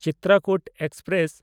Chitrakoot express